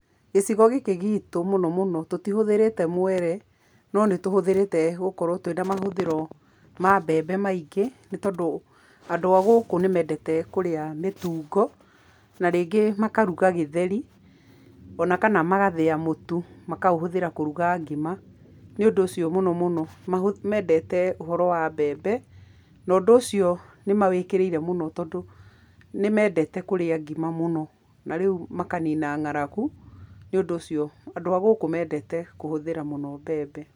Gĩcigo gĩkĩ gitũ mũno mũno tũtihũthĩrĩte mwere, no nĩ tũhũthĩrĩte gũkorũo twĩ na mahũthĩro ma mbembe maingĩ nĩ tondũ andũ a gũkũ nĩ mendete kũrĩa mĩtungo, na rĩngĩ makaruga gĩtheri,o na kana makathĩa mũtu makaũhũthĩra kũruga ngima, nĩ ũndũ ũcio mũno mũno mendete ũhoro wa mbembe, na ũndũ ũcio nĩ mawĩkĩrĩire mũno tondũ nĩ mendete kũrĩa ngima mũno, na rĩu makanina ng'aragu, nĩ ũndũ ũcio andũ a gũkũ nĩ mendete kũhũthĩra mũno mbembe.